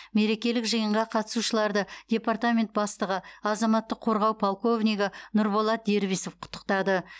мерекелік жиынға қатысушыларды департамент бастығы азаматтық қорғау полковнигі нұрболат дербисов құттықтады